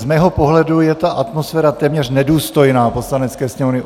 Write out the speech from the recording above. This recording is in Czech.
Z mého pohledu je ta atmosféra téměř nedůstojná Poslanecké sněmovny.